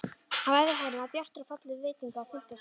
Á efri hæðinni var bjartur og fallegur veitinga- og fundasalur.